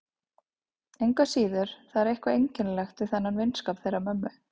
Engu að síður, það er eitthvað einkennilegt við þennan vinskap þeirra mömmu.